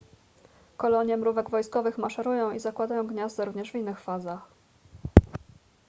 kolonie mrówek wojskowych maszerują i zakładają gniazda również w innych fazach